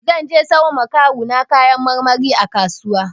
Zan je sayo ma kawu na kayan marmari a kasuwa.